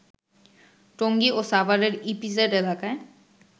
টঙ্গী ও সাভারের ইপিজেড এলাকায়